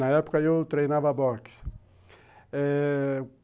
Na época, eu treinava boxe eh..